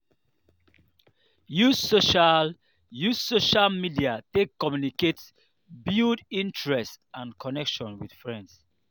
use social use social media take communicate build interest and connection with friend